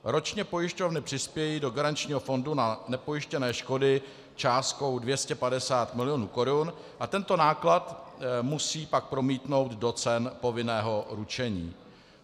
Ročně pojišťovny přispějí do garančního fondu na nepojištěné škody částkou 250 milionů korun a tento náklad pak musí promítnout do cen povinného ručení.